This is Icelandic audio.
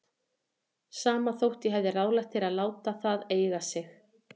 Sama þótt ég hafi ráðlagt þér að láta það eiga sig.